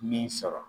Min sɔrɔ